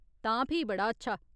तां फ्ही बड़ा अच्छा !